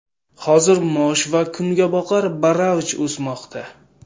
Hozir mosh va kungaboqar baravj o‘smoqda.